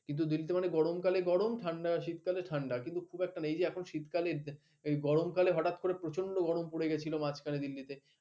কিন্তু দিল্লিতে মানে গরমকালে গরম ঠাণ্ডা শীতকালে ঠাণ্ডা কিন্তু খুব একটা নেই। এই যে এখন শীতকালে এই গরমকালে হঠাৎ করে প্রচণ্ড গরম পড়ে গেছিল মাঝখানে দিল্লিতে।